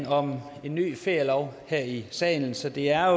om en ny ferielov her i salen så det er